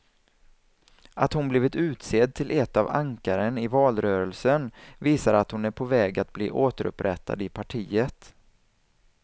Att hon blivit utsedd till ett av ankaren i valrörelsen visar att hon är på väg att bli återupprättad i partiet.